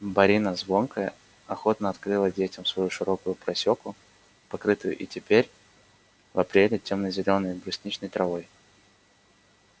борина звонкая охотно открыла детям свою широкую просеку покрытую и теперь в апреле тёмно-зеленой брусничной травой